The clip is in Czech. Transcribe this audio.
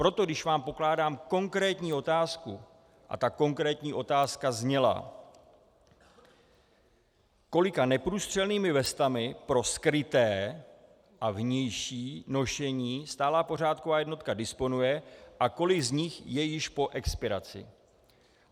Proto když vám pokládám konkrétní otázku - a ta konkrétní otázka zněla, kolika neprůstřelnými vestami pro skryté a vnější nošení stálá pořádková jednotka disponuje a kolik z nich je již po expiraci.